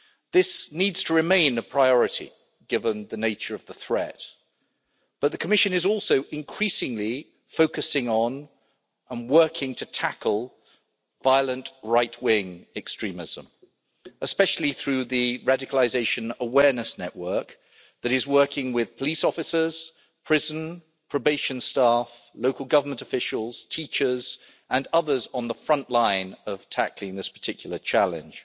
This needs to remain a priority, given the nature of the threat, but the Commission is also increasingly focusing on, and working to tackle, violent right wing extremism, especially through the Radicalisation Awareness Network that is working with police officers, prison and probation staff, local government officials, teachers and others on the front line of tackling this particular challenge.